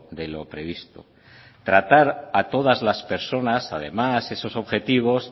de lo previsto tratar a todas las personas además esos objetivos